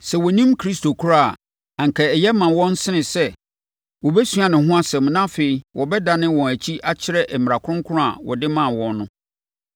Sɛ wɔnnim Kristo koraa a, anka ɛyɛ ma wɔn sene sɛ wɔbɛsua ne ho nsɛm na afei wɔbɛdane wɔn akyi akyerɛ mmara Kronkron a wɔde maa wɔn no.